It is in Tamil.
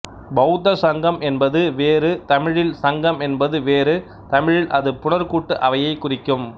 பெளத்த ஸங்கம் என்பது வேறு தமிழில் சங்கம் என்பது வேறு தமிழில் அது புணர்கூட்டு அவையைக் குறிக்கும்